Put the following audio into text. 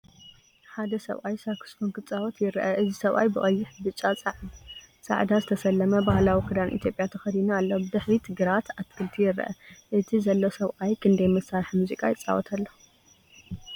ሓደ ሰብኣይ ሳክስፎን ክጻወት ይርአ። እዚ ሰብኣይ ብቀይሕ፣ ብጫ፣ ጻዕዳ ዝተሰለመ ባህላዊ ክዳን ኢትዮጵያ ተኸዲኑ ኣሎ። ብድሕሪት ግራት ኣትክልቲ ይርአ። እቲ ዘሎ ሰብኣይ ክንደይ መሳርሒ ሙዚቃ ይጻወት ኣሎ?